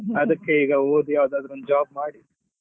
ಅದಕ್ಕೆ ಈಗ ಓದಿ ಯಾವ್ದಾದ್ರು ಒಂದು job ಮಾಡಿ